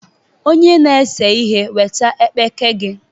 Onye na-ese ihe weta ekpeke gị!